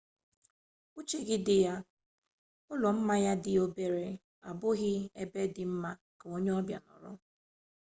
uche gị dị ya ụlọ mmanya ndị obere abụghị ebe dị mma ka onye mbịa mbịa nọrọ